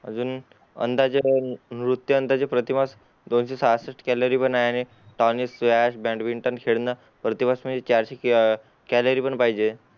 अजून अंदाजे दोन